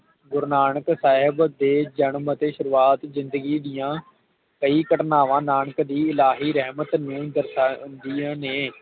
ਗੁਰੂ ਨਾਨਕ ਸਾਹਿਬ ਦੇ ਜਨਮ ਅਤੇ ਸ਼ੁਰੂਵਾਤ ਜਿੰਦਗੀ ਦੀਆ ਕਈ ਘਟਨਾਵਾਂ ਨਾਨਕ ਦੀ ਇਲਾਹੀ ਰਹਿਮਤ ਨੂੰ ਦਰਸਾਉਂਦੀਆਂ ਨੇ